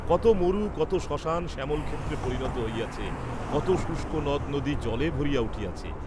কত মরু কত শ্মশান শ্যামলক্ষেত্রে পরিণত হইয়াছে, কত শুষ্ক নদনদী জলে ভরিয়া উঠিয়াছে।